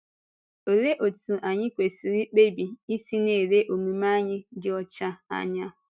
Olee otú anyị kwesị̀rị ikpebi isi na-ele omume anyị dị ọcha anya?